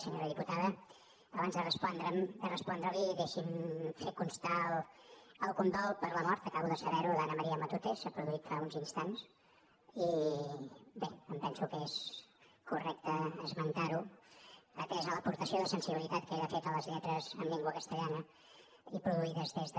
senyora diputada abans de respondre li deixi’m fer constar el condol per la mort acabo de saber ho d’ana maría matute s’ha produït fa uns instants i bé em penso que és correcte esmentar ho atesa l’aportació de sensibilitat que ella ha fet a les lletres en llengua castellana i produïdes des de